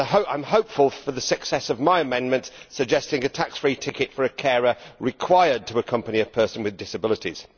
I am hopeful for the success of my amendment suggesting a tax free ticket for a carer required to accompany a person with disabilities.